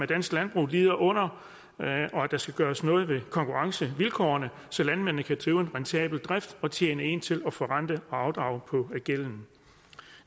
dansk landbrug lider under og at der skal gøres noget ved konkurrencevilkårene så landmændene kan drive en rentabel drift og tjene ind til forrente og afdrage på gælden